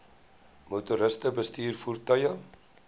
motoriste bestuur voertuie